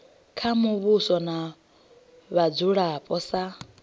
kha muvhuso na vhadzulapo sa